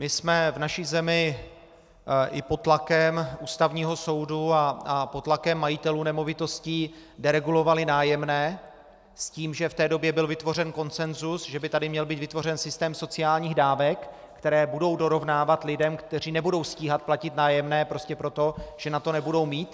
My jsme v naší zemi i pod tlakem Ústavního soudu a pod tlakem majitelů nemovitostí deregulovali nájemné s tím, že v té době byl vytvořen konsensus, že by tady měl být vytvořen systém sociálních dávek, které budou dorovnávat lidem, kteří nebudou stíhat platit nájemné prostě proto, že na to nebudou mít.